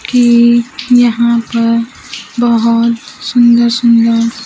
कि यहां पर बहोत सुन्दर सुन्दर--